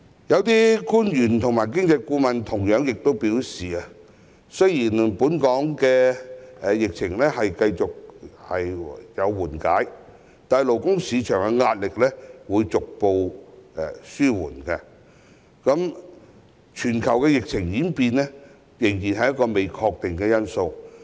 有些官員及經濟顧問亦同樣表示，雖然本港的疫情繼續緩和，勞工市場的壓力逐步紓緩，但全球疫情的演變仍然是一個不確定因素。